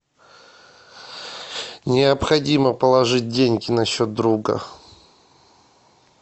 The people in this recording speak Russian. необходимо положить деньги на счет друга